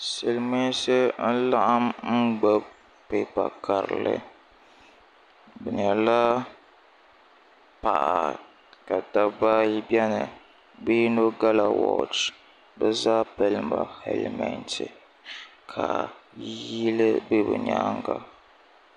silimiinsi n-laɣim n-gbubi pipa karili bɛ nyɛla paɣa ka dabba ayi beni bɛ yino gala woochi bɛ zaa pili ya helimenti ka yili be bɛ nyaaga.